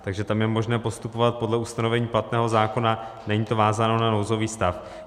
Takže tam je možné postupovat podle ustanovení platného zákona, není to vázáno na nouzový stav.